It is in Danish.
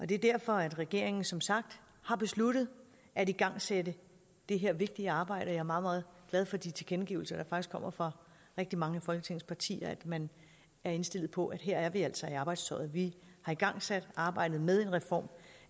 det er derfor at regeringen som sagt har besluttet at igangsætte det her vigtige arbejde og jeg er meget meget glad for de tilkendegivelser der faktisk kommer fra rigtig mange af folketingets partier om at man er indstillet på at her er vi altså i arbejdstøjet vi har igangsat arbejdet med en reform